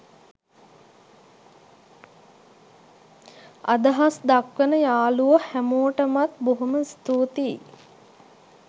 අදහස් දක්වන යාළුවො හැමෝටමත් බොහොම ස්තූතියි